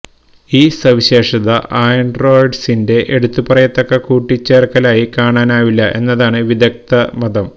ഈ സവിശേഷത ആന്ഡ്രോയിഡിന്റെ എടുത്തു പറയത്തക്ക കൂട്ടിചേര്ക്കലായി കാണാനാവില്ല എന്നാണ് വിദഗ്ദ്ധ മതം